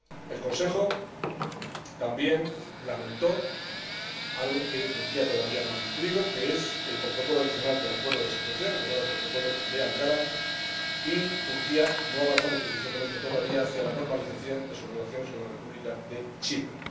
El Consejo también lamentó que Turquía todavía no haya cumplido el protocolo adicional del Acuerdo de asociación, el llamado Protocolo de Ankara, y que todavía no haya avanzado suficientemente hacia la normalización de sus relaciones con la República de Chipre.